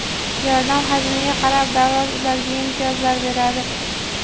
yordam hajmiga qarab davlat ularga imtiyozlar beradi.